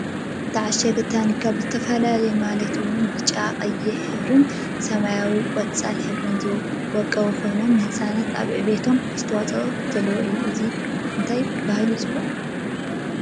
እተዓሸገ ታኒካታት ብዝተፈላለየ ማለት እውን ብብጫን ቀይሕን ሕብርን ብሰማያዊን ቆፃል ሕብርታት ዝወቀበ ኮይኑ ንህፃናት ኣብ ዕብየቶም ኣስተዋፅኦ ዘለዎ እዩ። እንታይ እናተባህለ ይፅዋዕ?